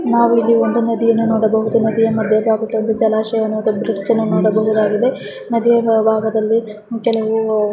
ನಾವು ಇಲ್ಲಿ ಒಂದು ನದಿಯನ್ನ ನೋಡಬಹುದು ನದಿಯಯಾ ಮೇಲಿನ ಜಲಾಶಯದ ಒಂದು ಬ್ರಿಡ್ಜ್ ಅನ್ನು ನೋಡಬಹುದಾಗಿದೆ ನದಿಯ ಒಳಬಾಗದಲ್ಲಿ ಕೆಲವು --